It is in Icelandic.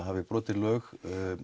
hafi brotið lög